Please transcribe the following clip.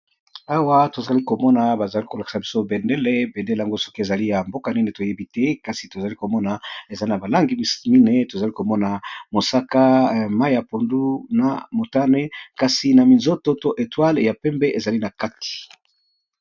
Awa tozali komona ba zali ko lakisa biso bendele bendele yango soki ezali ya mboka nini toyebi te kasi tozali komona eza na balangi misusu mine tozali komona mosaka mai ya pondu na motane kasi na minzoto to etwale ya pembe ezali na kati.